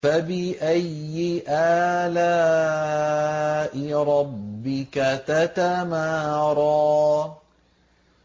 فَبِأَيِّ آلَاءِ رَبِّكَ تَتَمَارَىٰ